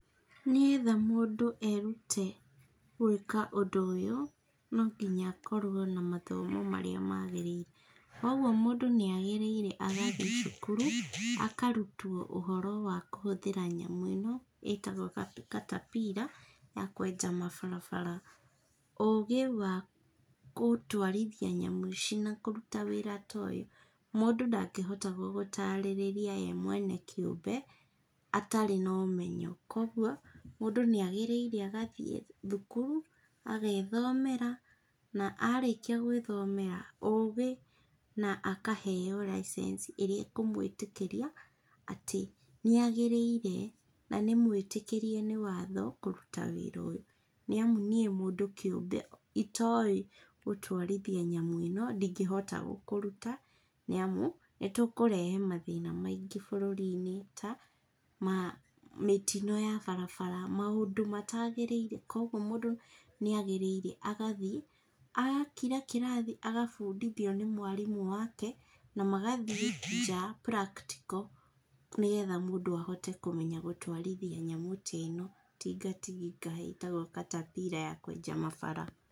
Nĩgetha mũndũ erute gwĩka ũndũ ũyũ, no nginya akorwo na mathomo marĩa magĩrĩire, kogwo mũndũ nĩ agĩrĩire agathiĩ cukuru, akarutwo ũhoro wa kũhũthĩra nyamũ ĩno ĩtagwo caterpillar ya kweja mabarabara, ũgĩ wa gũtwarithia nyamũ ici na kũruta wĩra ta ũyũ, mũndũ ndangĩhota gũgũtarĩrĩa ye mwene kĩũmbe atarĩ na ũmenyo, kogwo, mũndũ nĩ agĩrĩire agathiĩ thukuru, agethomera na arĩkia gwĩthomera ũgĩ, na akaheo license ĩrĩa ĩkũmwĩtĩkĩria atĩ nĩ agĩrĩire, na nĩ mwĩtĩkĩrie nĩ watho kũruta wĩra ũyũ, nĩ amu nĩ mũndũ kĩũmbe itoĩ gũtwarithia nyamũ ĩno, ndingĩhota gũkũruta nĩ amu, nĩtũkũrehe mathĩna maingĩ bũrũri-inĩ ta, ma mĩtino ya barabara, maũndũ matagĩrĩire, kogwo mũndũ nĩ agĩrĩire agathiĩ agakira kĩrathĩ agabundithio nĩ mwarimũ wake, na magathiĩ nja practical, nĩgetha mũndũ ahote kũmenya gũtwarithia nyamũ ta ĩno, tinga tinga ĩtagwo caterpillar ya kwenja mabara.